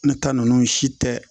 Ne ta ninnu si tɛ